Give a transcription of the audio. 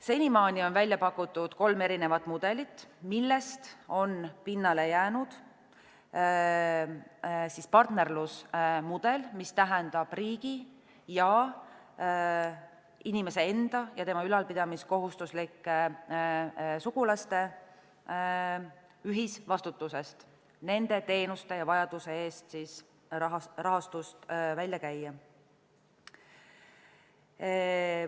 Senimaani on välja pakutud kolm erinevat mudelit, millest on pinnale jäänud partnerlusmudel, mis tähendab riigi ja inimese enda ja tema ülalpidamiskohustuslike sugulaste ühisvastutust nende teenuste ja vajaduse eest raha välja käia.